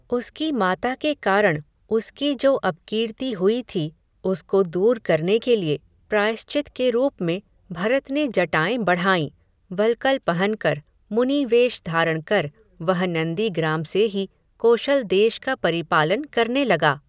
उसकी माता के कारण, उसकी जो अपकीर्ति हुई थी, उसको दूर करने के लिए, प्रायश्चित के रूप में, भरत ने जटाएँ बढ़ाईं, वल्कल पहनकर, मुनि वेष धारण कर, वह नन्दीग्राम से ही, कोशल देश का परिपालन करने लगा